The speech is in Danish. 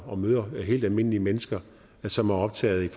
og møder helt almindelige mennesker som er optaget